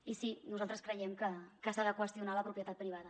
i sí nosaltres creiem que s’ha de qüestionar la propietat privada